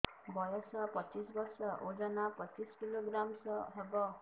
ବୟସ ପଚିଶ ବର୍ଷ ଓଜନ ପଚିଶ କିଲୋଗ୍ରାମସ ହବ